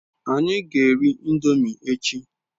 Anyi g'eri indomi echi